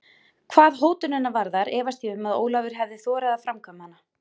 Hvað hótunina varðar efast ég um að Ólafur hefði þorað að framkvæma hana.